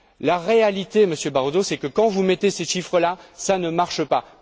La réalité, Monsieur Barroso, c'est que lorsque vous mettez ces chiffres là, cela ne marche pas.